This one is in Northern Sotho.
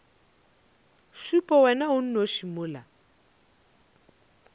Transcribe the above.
šupe wena o nnoši mola